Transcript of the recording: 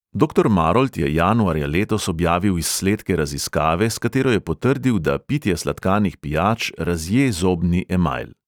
Doktor marolt je januarja letos objavil izsledke raziskave, s katero je potrdil, da pitje sladkanih pijač razje zobni emajl.